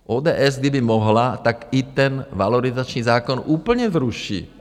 ODS, kdyby mohla, tak i ten valorizační zákon úplně zruší.